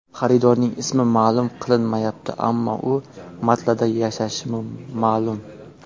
Xaridorning ismi ma’lum qilinmayapti, ammo u Maltada yashashi ma’lum.